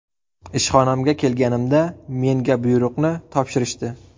Ishxonamga kelganimda menga buyruqni topshirishdi.